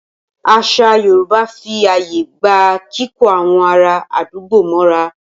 Àṣà Yorùbá fí ààyè gba kíkó àwọn ará àdúgbò mọ́ra.